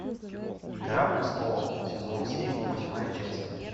игра престолов сезон семь восьмая часть